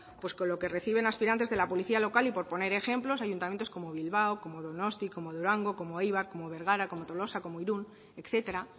pues con lo que reciben los aspirantes de la policía local y por poner ejemplos ayuntamientos como bilbao donostia durango eibar bergara tolosa irun etcétera